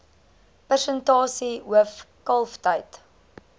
persentasie hoof kalftyd